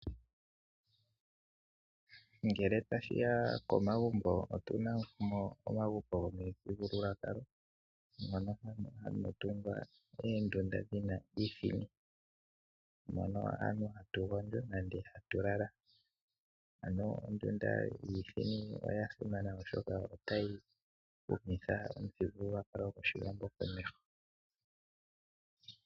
Ngele tashi ya komagumbo otu na mo omagumbo gomithigululwakalo mono hamu tungwa oondunda dhi na iithini mono aantu hatu gondjo nenge hatu lala. Ano, ondunda yiithini oya simana, oshoka otayi humitha omuthigululwakalo gOshiwambo komeho.